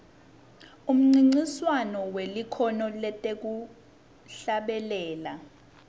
umncintiswano welikhono lekuhlabelela